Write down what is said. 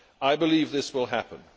I believe this will happen.